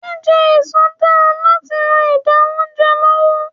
Jíjẹ èso dára láti ran ìdà oúnjẹ lọ́wọ́.